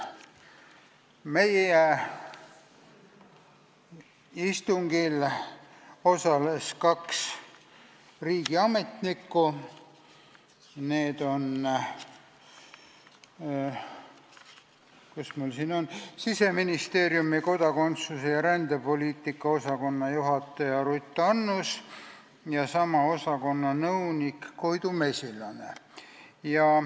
Meie istungil osales kaks riigiametnikku: Siseministeeriumi kodakondsus- ja rändepoliitika osakonna juhataja Ruth Annus ja sama osakonna nõunik Koidu Mesilane.